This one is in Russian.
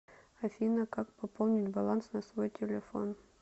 афина как пополнить баланс на свой телефон